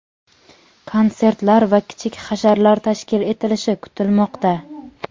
konsertlar va kichik hasharlar tashkil etilishi kutilmoqda.